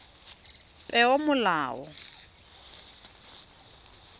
peomolao